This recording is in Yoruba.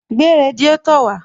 Gbé radiátò wàá